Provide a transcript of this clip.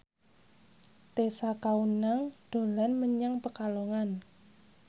Tessa Kaunang dolan menyang Pekalongan